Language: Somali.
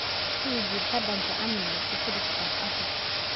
Tuji badhanka Amniga (Security tab) afar